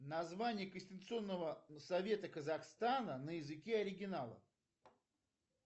название конституционного совета казахстана на языке оригинала